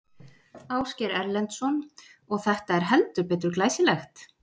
Ásgeir Erlendsson: Og þetta er heldur betur glæsilegt?